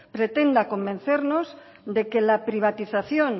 pretenda convencernos de que la privatización